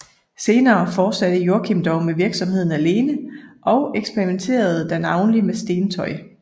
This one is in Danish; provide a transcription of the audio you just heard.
Senere fortsatte Joachim dog virksomheden alene og eksperimenterede da navnlig med stentøj